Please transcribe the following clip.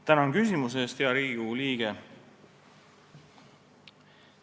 Tänan küsimuse eest, hea Riigikogu liige!